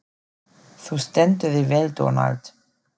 Þú stendur þig vel, Dónald!